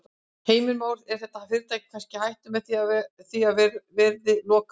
Heimir Már: Er þetta fyrirtæki kannski í hættu með það að því verði lokað?